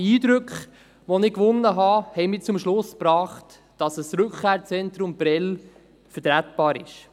Die Eindrücke, die ich gewonnen habe, haben mich zum Schluss gebracht, dass ein Rückkehrzentrum Prêles vertretbar ist.